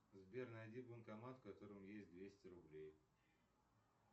сбер найди банкомат в котором есть двести рублей